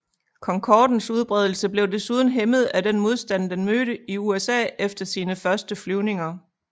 Concordens udbredelse blev desuden hæmmet af den modstand den mødte i USA efter sine første flyvninger